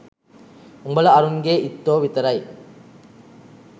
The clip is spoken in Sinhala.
උඹල අරුන්ගේ ඉත්තෝ විතරයි